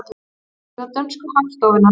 Vefsíða dönsku hagstofunnar